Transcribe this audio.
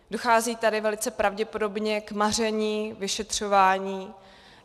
Dochází tady velice pravděpodobně k maření vyšetřování.